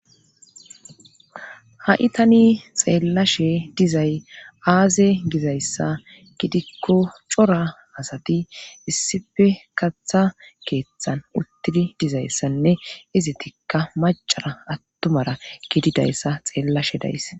Ha7i tani xeellashe dizay aaze gizayssa gidikko cora asati issife katha keeththan uttidi dizayssanne izi tikka macara attumara gididayssa xeellashe days.